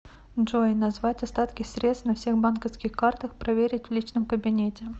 джой назвать остатки средств на всех банковских картах проверить в личном кабинете